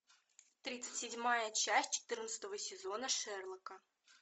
тридцать седьмая часть четырнадцатого сезона шерлока